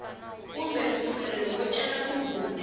kumbe mpfumelelo wo cela mugodi